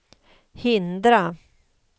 hindra